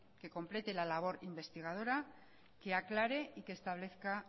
que complete la labor investigadora que aclare y que establezca